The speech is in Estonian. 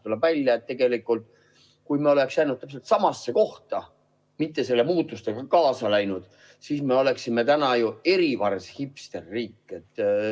Tuleb välja, et tegelikult, kui me oleksime jäänud täpselt samasse kohta, mitte nende muutustega kaasa läinud, siis me oleksime täna ju erivars hipsterriik.